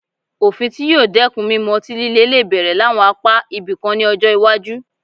Òfin tí yóò dẹ́kun mímu ọtí lílè lè bẹ̀rẹ̀ láwọn apá ibìkan ní ọjọ́ iwájú